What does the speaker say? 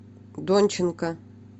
донченко